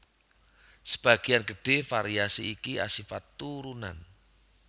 Sebagéyan gedhé variasi iki asifat turunan